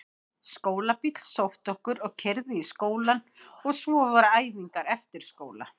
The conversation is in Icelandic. Skólabíll sótti okkur og keyrði í skólann og svo voru æfingar eftir skóla.